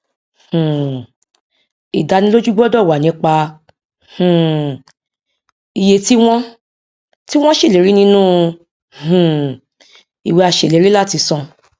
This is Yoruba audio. um ìdánilójú gbọdọ wà nípa um iye tí wọn tí wọn ṣèlérí nínú um ìwé aṣèlérí láti san